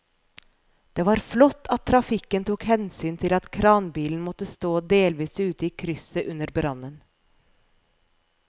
Det var flott at trafikken tok hensyn til at kranbilen måtte stå delvis ute i krysset under brannen.